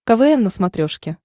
квн на смотрешке